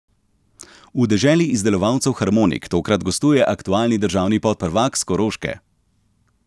V deželi izdelovalcev harmonik tokrat gostuje aktualni državni podprvak s Koroške.